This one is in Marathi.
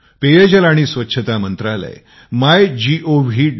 पेयजल आणि स्वच्छता मंत्रालय MyGov